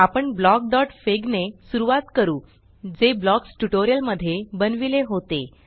आपण blockफिग ब्लॉकफिग ने सुरवात करू जे ब्लॉक्स ट्यूटोरियल मध्ये बनविले होते